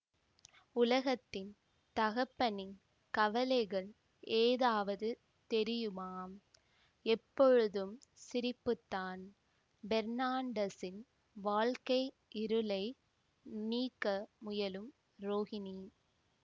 உலகத்தின் தகப்பனின் கவலைகள் ஏதாவது தெரியுமா எப்பொழுதும் சிரிப்புத்தான் பெர்னாண்டஸின் வாழ்க்கை இருளை நீக்க முயலும் ரோகிணி